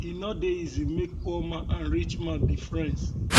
e no dey easy make poor man and rich man be friends